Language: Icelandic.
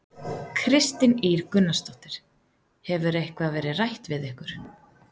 Kristín Ýr Gunnarsdóttir: Hefur eitthvað verið rætt við ykkur?